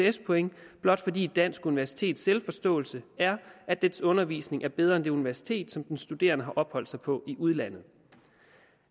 ects point blot fordi et dansk universitets selvforståelse er at dets undervisning er bedre end på det universitet som den studerende har opholdt sig på i udlandet